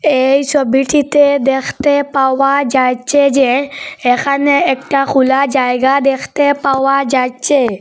এই ছবিটিতে দেখতে পাওয়া যাচ্চে যে এখানে একটা খুলা জায়গা দেখতে পাওয়া যাচ্চে।